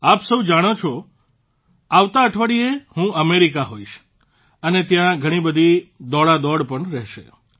આપ સૌ જાણો છો જ કે આવતા અઠવાડિયે હું અમેરિકામાં હોઇશ અને ત્યાં ઘણીબધી દોડાદોડ પણ રહેશે